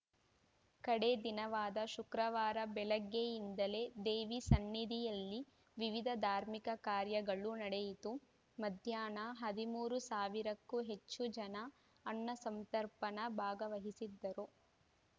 ಕಡೇ ದಿನವಾದ ಶುಕ್ರವಾರ ಬೆಳಗ್ಗೆಯಿಂದಲೇ ದೇವಿ ಸನ್ನಿಧಿಯಲ್ಲಿ ವಿವಿಧ ಧಾರ್ಮಿಕ ಕಾರ್ಯಗಳು ನಡೆಯಿತು ಮಧ್ಯಾಹ್ನ ಹದಿಮೂರು ಸಾವಿರಕ್ಕೂ ಹೆಚ್ಚು ಜನ ಅನ್ನಸಂತರ್ಪಣಾ ಭಾಗವಹಿಸಿದ್ದರು